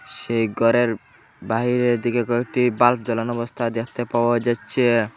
সেই গরের বাহিরের দিকে কয়েকটি বাল্ব জ্বালানো অবস্থায় দেখতে পাওয়া যাচ্ছে।